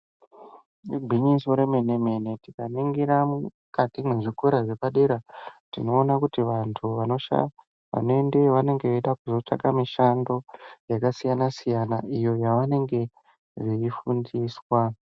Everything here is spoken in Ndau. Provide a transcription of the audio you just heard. Igwinyiso remene-mene, tikaningira mukati mezvikora zvepadera tinoone kuti antu vanoendeyo vanenge vachida kuzotsvake mishando, yakasiyana-siyana iyo yavanenge veifundiswa.